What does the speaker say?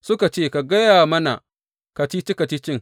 Suka ce, Ka gaya mana kacici kacicin.